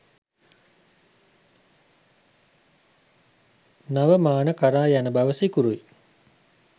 නව මාන කරා යන බව සිකුරුයි.